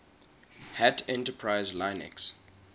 hat enterprise linux